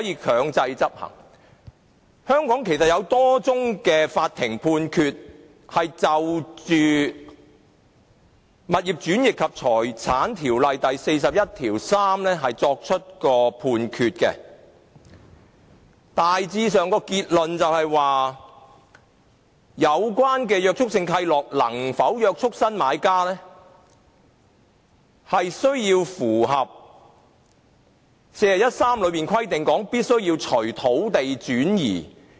其實，香港法院有多宗就《物業轉易及財產條例》第413條作出的判決，大致結論是有關的約束性契諾能否約束新買家，需要符合第413條中規定的"須隨土地轉移"。